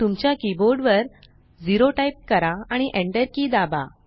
तुमच्या कीबोर्ड वर 0 टाइप करा आणि enter की दाबा